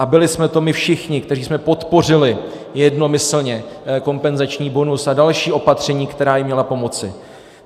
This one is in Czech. A byli jsme to my všichni, kteří jsme podpořili jednomyslně kompenzační bonus a další opatření, která jim měla pomoci.